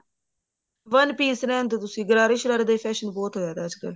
one piece ਰਹਿਣਦੋ ਤੁਸੀਂ ਗਰਾਰਾ ਸ਼ਰਾਰਾ ਦਾ ਹੀ fashion ਬਹੁਤ ਹੋਇਆ ਪਿਆ ਅੱਜਕਲ